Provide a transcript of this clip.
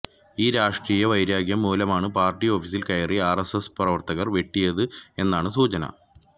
ഈ രാഷ്ട്രീയ വൈരാഗ്യം മൂലമാണ് പാർട്ടി ഓഫീസിൽ കയറി ആർഎസ്എസ് പ്രവർത്തകർ വെട്ടിയത് എന്നാണ് സൂചന